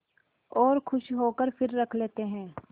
और खुश होकर फिर रख लेते हैं